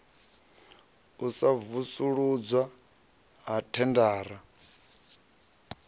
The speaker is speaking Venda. u sa vusuludzwa ha thendara